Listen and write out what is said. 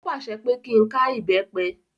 Ó pàṣẹ pé kí n ká ìbẹ́pẹ.